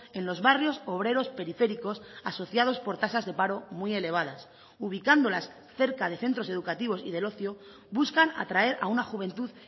en los barrios obreros periféricos asociados por tasas de paro muy elevadas ubicándolas cerca de centros educativos y del ocio buscan atraer a una juventud